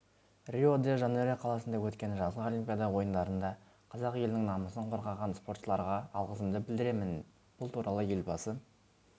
рио-де-жанейро қаласында өткен жазғы олимпиада ойындарында қазақ елінің намысын қорғаған спортшыларға алғысымды білдіремін бұл туралы елбасы